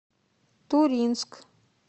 туринск